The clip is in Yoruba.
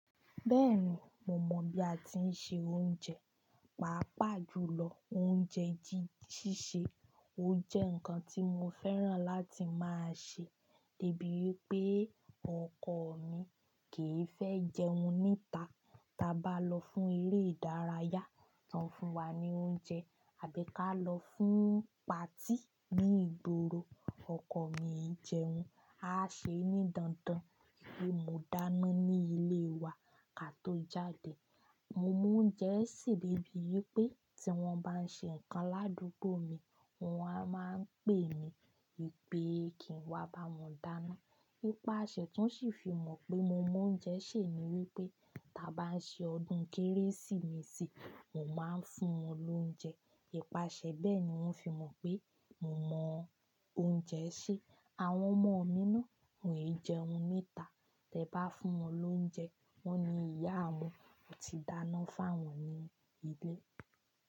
Bẹ́ẹ̀ni, mo mọ̀ bí a ti ń se oúnjẹ, pàápàá jùlọ oúnjẹ jíjísé. Ó jẹ́ nǹkan tí mo fẹ́ràn láti máa ṣe, tó bí pé ọkọ mi kì í fẹ́ jẹun níta. Taa bá lọ fún eré ìdárayá, wọ́n fún wa ní oúnjẹ. Àbí ká lọ fún patí ní ìgboro, ọkọ mi ń jẹun. A á ṣe ní dandan pé mo dáná ní ilé wa ká tó jáde. Mo mọ oúnjẹ sè bíbí pé tí wọ́n bá ń ṣe nǹkan ládùúgbò mi, wọ́n a máa pè mí pé kí n wá bá wọn dáná. Ípaṣẹ tán sì fi mọ̀ pé mo mọ oúnjẹ sè ni wípé tí a bá ń ṣe ọdún Kérésìmesì, mo máa ń fún wọn lóúnjẹ. Ípaṣẹ bẹ́ẹ̀ ni wón fi mọ̀ pé mo mọ oúnjẹ sè. Àwọn ọmọ mi náà ò ní jẹun níta. Tẹ́ bá fún wọn lóúnjẹ, wọ́n ni ìyá wọn ò tíì dáná fún wọn ní ilé.